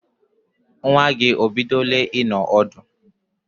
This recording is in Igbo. Nwa gi o bidole ịnọ ọdụ?